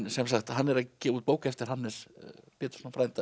sem sagt hann er að gefa út bók eftir Hannes Pétursson frænda